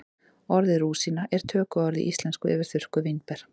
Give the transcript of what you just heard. orðið rúsína er tökuorð í íslensku yfir þurrkuð vínber